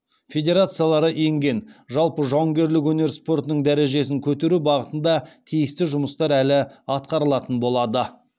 федерациялары енген жалпы жауынгерлік өнер спортының дәрежесін көтеру бағытында тиісті жұмыстар әлі атқарылатын болады